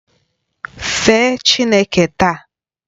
Fee Chineke taa!